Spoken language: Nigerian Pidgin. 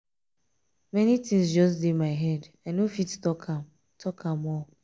many things just dey my head i no fit talk am talk am all.